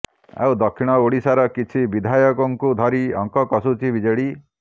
ଆଉ ଦକ୍ଷିଣ ଓଡିଶାର କିଛି ବିଧାୟକଙ୍କୁ ଧରି ଅଙ୍କ କଷୁଛି ବିଜେଡି